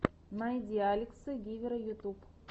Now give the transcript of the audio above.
найди алекса гивера ютюб